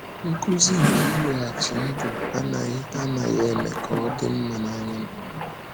“Nkuzi nke ịlọghachi ndụ anaghị anaghị eme ka ọ dị mma n’anya m.”